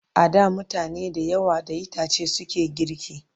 A da mutane da yawa da itace suke girki